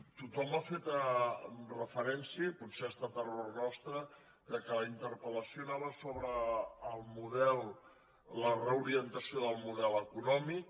tothom ha fet referència i potser ha estat error nos·tre que la interpel·lació anava sobre la reorientació del model econòmic